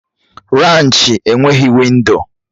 Raanchi enweghị windo.